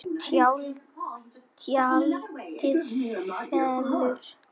Tjaldið fellur.